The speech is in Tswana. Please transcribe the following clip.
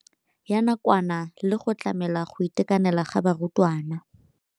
Ya nakwana le go tlamela go itekanela ga barutwana.